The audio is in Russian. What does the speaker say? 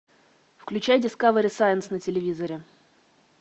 включай дискавери сайнс на телевизоре